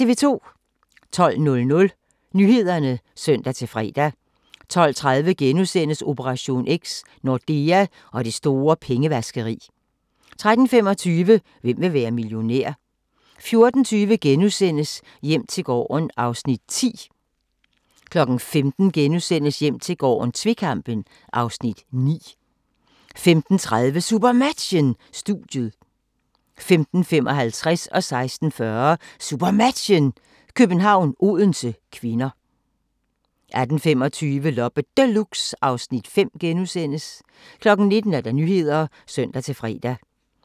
12:00: Nyhederne (søn-fre) 12:30: Operation X: Nordea og det store pengevaskeri * 13:25: Hvem vil være millionær? 14:20: Hjem til gården (Afs. 10)* 15:00: Hjem til gården - tvekampen (Afs. 9)* 15:30: SuperMatchen: Studiet 15:55: SuperMatchen: København-Odense (k) 16:40: SuperMatchen: København-Odense (k) 18:25: Loppe Deluxe (Afs. 5)* 19:00: Nyhederne (søn-fre)